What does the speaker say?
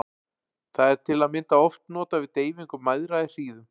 Það er til að mynda oft notað við deyfingu mæðra í hríðum.